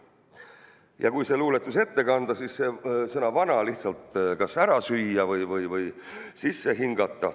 Ja kui see luuletus ette kanda, siis sõna "vana" kas lihtsalt ära süüa või sisse hingata.